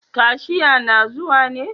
Kashia na zuwa ne?